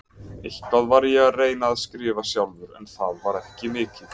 Eitthvað var ég að reyna að skrifa sjálfur, en það var ekki mikið.